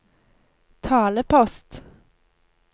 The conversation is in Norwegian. talepost